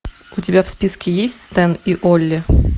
у тебя в списке есть стэн и олли